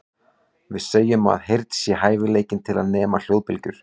Við segjum að heyrn sé hæfileikinn til að nema hljóðbylgjur.